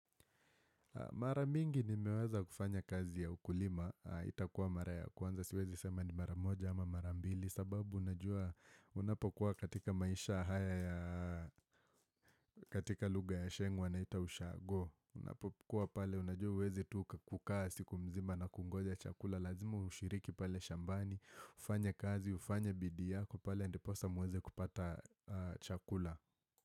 Mara mingi nimeweza kufanya kazi ya ukulima, itakuwa mara ya kwanza siwezi sema ni mara moja ama mara ambili sababu unapokuwa katika maisha haya ya katika lugha ya sheng wanaita ushago Unapokuwa pale unajua huwezi tu kukaa siku mzima na kungoja chakula Lazima ushiriki pale shambani, ufanye kazi, ufanye bidii yako pale ndiposa muweze kupata chakula.